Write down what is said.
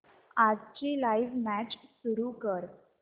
आजची live match सुरू कर